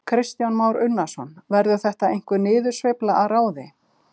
Kristján Már Unnarsson: Verður þetta einhver niðursveifla að ráði?